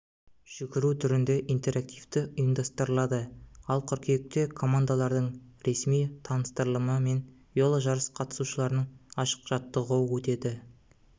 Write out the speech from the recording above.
жүгіру түрінде интерактив ұйымдастырылады ал қыркүйекте командалардың ресми таныстырылымы мен веложарыс қатысушыларының ашық жаттығуы өтеді